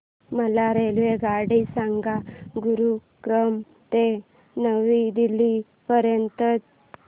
मला रेल्वेगाडी सांगा गुरुग्राम ते नवी दिल्ली पर्यंत च्या